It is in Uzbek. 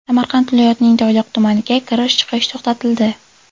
Samarqand viloyatining Toyloq tumaniga kirish-chiqish to‘xtatildi.